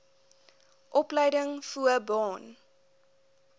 opleiding voo baan